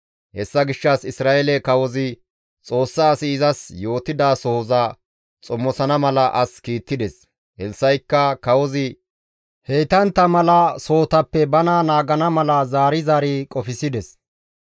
Hessa gishshas Isra7eele kawozi Xoossa asi izas yootidasohoza xomosana mala as kiittides; Elssa7ikka kawozi heytantta mala sohotappe bana naagana mala zaari zaari qofsides.